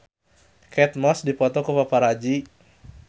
Kate Moss dipoto ku paparazi